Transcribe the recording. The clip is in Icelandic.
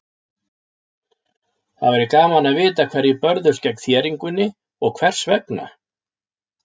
Það væri gaman að vita hverjir börðust gegn þéringunni og hvers vegna.